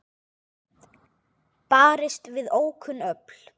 Barist við ókunn öfl